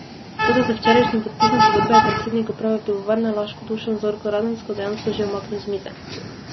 Toda z včerajšnjim podpisom pogodbe je predsednik uprave Pivovarne Laško Dušan Zorko Radensko dejansko že umaknil z mize.